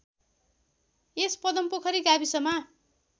यस पदमपोखरी गाविसमा